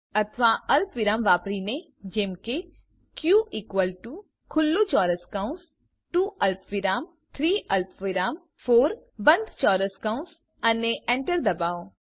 અથવા અલ્પવિરામ વાપરીને જેમ કે ક ઇકવલ ટુ ખુલ્લું ચોરસ કૌંસ 2 અલ્પવિરામ 3 અલ્પવિરામ 4 બંધ ચોરસ કૌંસ અને enter દબાવો